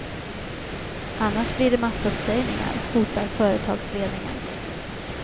Annars blir det massuppsägningar, hotar företagsledningen.